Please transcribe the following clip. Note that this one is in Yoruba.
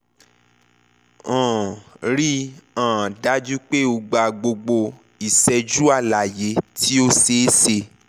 um rii um daju pe o gba gbogbo iṣẹju alaye ti o ṣeeṣe